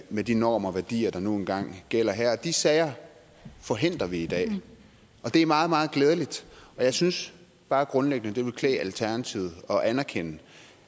med de normer og værdier der nu engang gælder her de sager forhindrer vi i dag og det er meget meget glædeligt jeg synes bare grundlæggende det ville klæde alternativet at anerkende